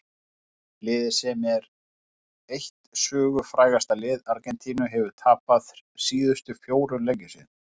Liðið sem er eitt sögufrægasta lið Argentínu hefur tapað síðustu fjórum leikjum sínum.